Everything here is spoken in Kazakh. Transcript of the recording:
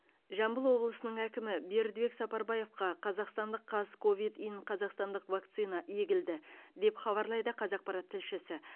жамбыл облысының әкімі бердібек сапарбаевқа қазақстандық қазковид ин қазақстандық вакцина егілді деп хабарлайды қазақпарат тілшісі